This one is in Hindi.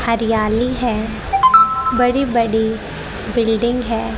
हरियाली है बड़ी बड़ी बिल्डिंग है।